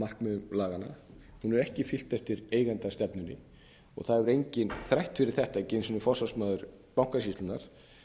markmiðum laganna hún hefur ekki fylgt eftir eigendastefnunni og það hefur enginn þrætt fyrir þetta ekki einu sinni forsvarsmaður bankasýslunnar